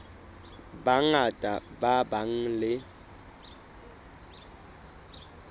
ba bangata ba nang le